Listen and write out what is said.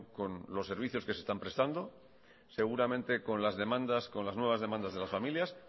con los servicios que se están prestando seguramente con las demandas con las nuevas demandas de las familias